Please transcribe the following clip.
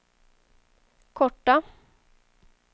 korta